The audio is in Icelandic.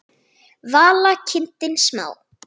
Vala: kindin smá.